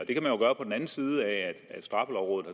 jo gøre på den anden side af at straffelovrådet